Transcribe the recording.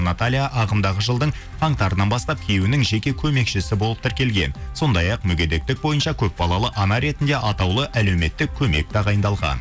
наталья ағымдағы жылдың қаңтарынан бастап күйеуінің жеке көмекшісі болып тіркелген сондай ақ мүгедектік бойынша көпбалалы ана ретінде атаулы әлеуметтік көмек тағайындалған